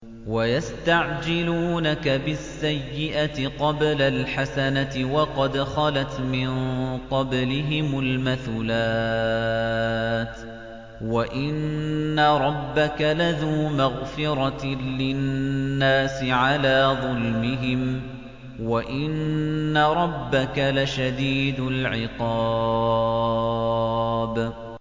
وَيَسْتَعْجِلُونَكَ بِالسَّيِّئَةِ قَبْلَ الْحَسَنَةِ وَقَدْ خَلَتْ مِن قَبْلِهِمُ الْمَثُلَاتُ ۗ وَإِنَّ رَبَّكَ لَذُو مَغْفِرَةٍ لِّلنَّاسِ عَلَىٰ ظُلْمِهِمْ ۖ وَإِنَّ رَبَّكَ لَشَدِيدُ الْعِقَابِ